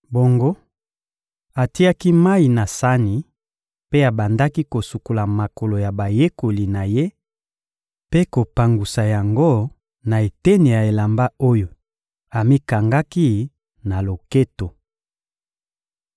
Bongo, atiaki mayi na sani mpe abandaki kosukola makolo ya bayekoli na Ye mpe kopangusa yango na eteni ya elamba oyo amikangaki na loketo.